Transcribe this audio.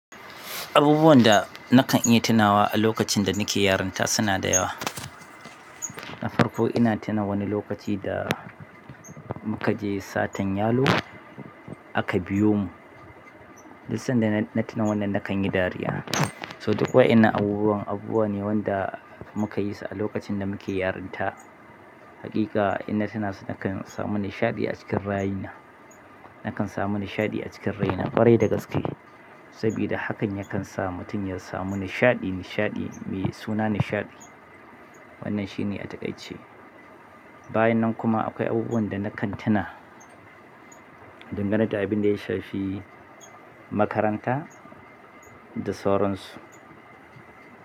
Abubuwan da nakan iya tunawa a lokacin da nake yarinta suna da yawa. Na farko ina tuna wani lokaci da muka je satan yalo a Kabiyomu. Duk sanda na tuna wannan na kan yi dariya. To duk wa'innan abubuwan abubuwa ne wanda mukayi su a lokacin da muke yarinta hakika in na tuna su nakan samu nishaɗi acikin ra'ayina nakan samu nishaɗi ƙwarai da gaske sabida hakan yakan sa mutum ya samu nishaɗi, nishaɗi, me suna nishaɗi. Wannan shine a takaice. Bayan nan kuma akwai abubuwan da nakan tuna dangane da abin da ya shafi makaranta da sauran su.